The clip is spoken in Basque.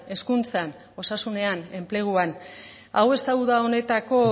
hezkuntzan osasunean enpleguan hau ez da uda honetako